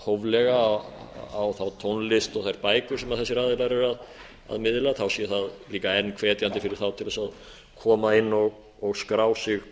hóflega á þá tónlist og þær bækur sem þessir aðilar eru að miðla sé það líka enn hvetjandi fyrir þá til þess að koma inn og skrá sig